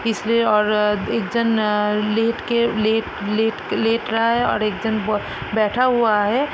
इसलिए और अ एक जन अ लेट के लेट लेट क लेट रहा है और एक जन ब बैठा हुआ है।